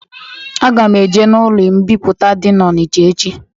Aga m eje n'ulo mbipụta dị n'Onicha echi